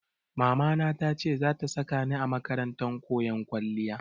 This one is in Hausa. Mamana ta ce za ta saka ni a makarantar koyon kwalliya.